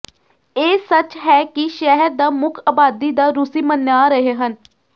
ਇਹ ਸੱਚ ਹੈ ਕਿ ਸ਼ਹਿਰ ਦਾ ਮੁੱਖ ਆਬਾਦੀ ਦਾ ਰੂਸੀ ਮੰਨਿਆ ਰਹੇ ਹਨ